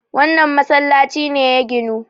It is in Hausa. wannan masallaci ne ya ginu!